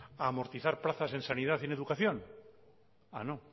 a amortizar plazas en sanidad y en educación ah no